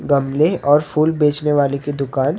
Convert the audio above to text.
गमले और फूल बेचने वाले की दुकान--